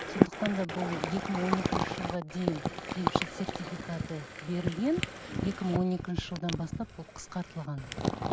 сондықтан да бұл екі мың он екінші жылға дейін емші сертификаты берілген екі мың он екінші жылдан бастап ол қысқартылған